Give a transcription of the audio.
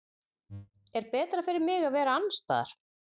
Er betra fyrir mig að vera annars staðar?